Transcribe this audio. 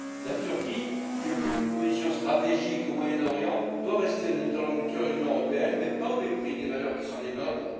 La Turquie, qui occupe une position stratégique au Moyen Orient, doit rester un interlocuteur de l'Union européenne, mais pas au mépris des valeurs qui sont les nôtres.